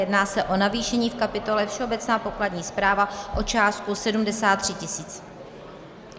Jedná se o navýšení v kapitole všeobecná pokladní správa o částku 73 tis.